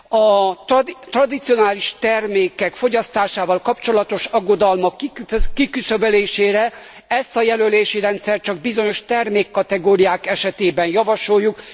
A tradicionális termékek fogyasztásával kapcsolatos aggodalmak kiküszöbölésére ezt a jelölési rendszert csak bizonyos termékkategóriák esetében javasoljuk.